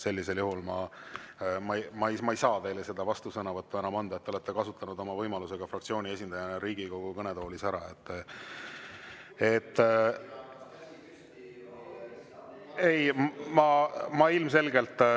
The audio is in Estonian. Seetõttu ma ei saa teile seda vastusõnavõttu enam anda, te olete kasutanud oma võimaluse fraktsiooni esindajana Riigikogu kõnetoolis ära.